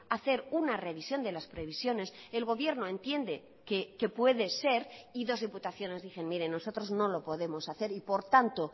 hacer una revisión de las previsiones el gobierno entiende que puede ser y dos diputaciones dicen miren nosotros no lo podemos hacer y por tanto